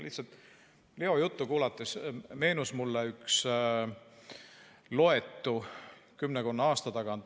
Lihtsalt Leo juttu kuulates meenus mulle üks loetu kümmekonna aasta tagant.